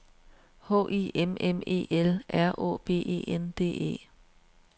H I M M E L R Å B E N D E